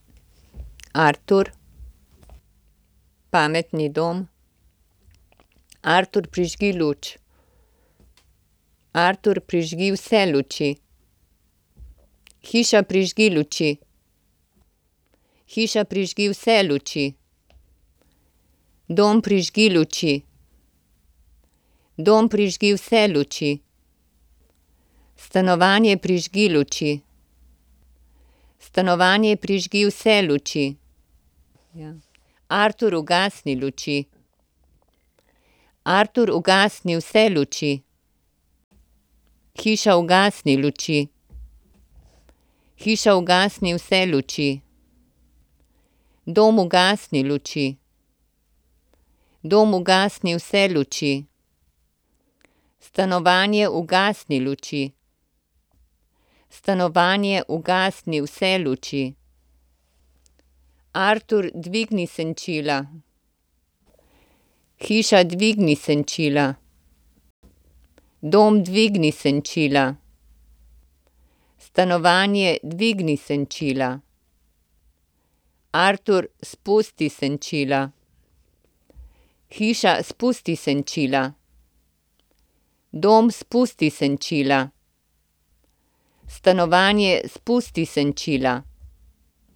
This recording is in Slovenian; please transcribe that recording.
Artur. Pametni dom. Artur, prižgi luč. Artur, prižgi vse luči. Hiša, prižgi luči. Hiša, prižgi vse luči. Dom, prižgi luči. Dom, prižgi vse luči. Stanovanje, prižgi luči. Stanovanje, prižgi vse luči. Ja. Artur, ugasni luči. Artur, ugasni vse luči. Hiša, ugasni luči. Hiša, ugasni vse luči. Dom, ugasni luči. Dom, ugasni vse luči. Stanovanje, ugasni luči. Stanovanje, ugasni vse luči. Artur, dvigni senčila. Hiša, dvigni senčila. Dom, dvigni senčila. Stanovanje, dvigni senčila. Artur, spusti senčila. Hiša, spusti senčila. Dom, spusti senčila. Stanovanje, spusti senčila.